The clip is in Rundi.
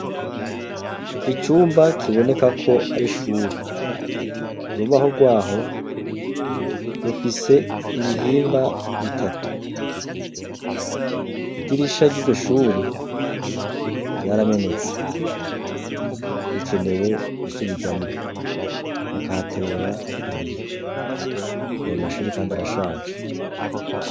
Icumba kiboneka ko ari shuri, urubaho rwaho rufise ibihimba bitatu, idirisha ry'igishuri ryaramenetse rikenewe gusubirwamwo, bakahatera ibiyo ayo mashuri kandi arashaje.